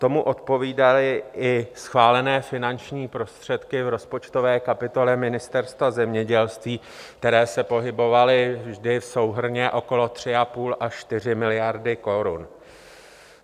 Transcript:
Tomu odpovídaly i schválené finanční prostředky v rozpočtové kapitole Ministerstva zemědělství, které se pohybovaly vždy souhrnně okolo 3,5 až 4 miliard korun.